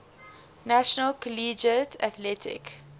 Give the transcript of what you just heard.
national collegiate athletic